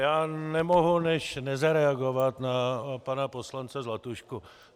Já nemohu než nezareagovat na pana poslance Zlatušku.